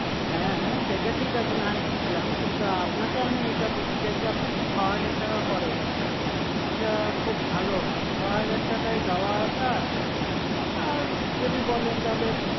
হ্যা সেটা ঠিক আছে না হয় বুঝলাম কিন্তু আপনাকে আমি যেটা বলতে চাইছি আপনি যদি ছ হাজার টাকা করেন এটা খুব ভালো হয় ছ হাজার টাকায় যাওয়া আসা আর যদি বলেন তাহলে